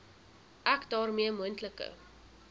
ek daarmee moontlike